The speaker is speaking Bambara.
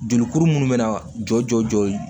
Jolikuru minnu bɛna jɔ jɔ jɔ ye